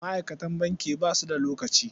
Ma'aikatan banki ba su da lokaci.